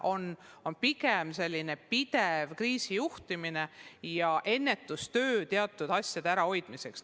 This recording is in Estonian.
Pigem on olnud selline pidev kriisijuhtimine ja ennetustöö teatud asjade ärahoidmiseks.